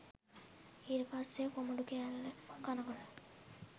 ඊට පස්සෙ කොමඩු කෑල්ල කනකොට